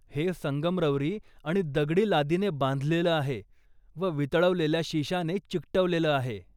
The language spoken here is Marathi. हे संगमरवरी आणि दगडी लादीने बांधलेलं आहे व वितळवलेल्या शिशाने चिकटवलेलं आहे.